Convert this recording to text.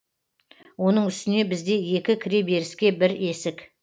оның үстіне бізде екі кіреберіске бір есік